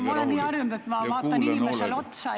Ma olen nii harjunud, et ma vaatan inimesele otsa.